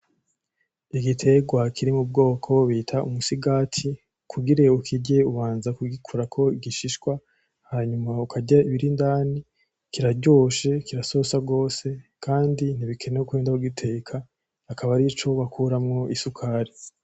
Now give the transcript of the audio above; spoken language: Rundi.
Igiterwa kiri mu bwoko bita umusigati kugire ukirye ubanza kugikurako ibishishwa Hama ukarya ibiri indani kiraryoshe kirasosa gose kandi ntibikenewe kurinda kugiteka akaba arico bakuramwo isukari.